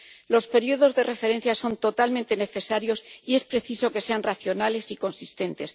Los periodos de referencia son totalmente necesarios, y es preciso que sean racionales y consistentes.